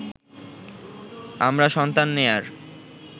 আমরা সন্তান নেয়ার